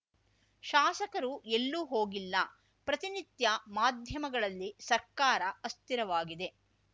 ಶಾಸಕರು ಎಲ್ಲೂ ಹೋಗಿಲ್ಲ ಪ್ರತಿ ನಿತ್ಯ ಮಾಧ್ಯಮಗಳಲ್ಲಿ ಸರ್ಕಾರ ಅಸ್ಥಿರವಾಗಿದೆ